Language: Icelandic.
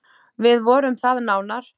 Við vorum það nánar.